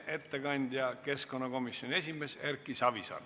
Ettekandja on keskkonnakomisjoni esimees Erki Savisaar.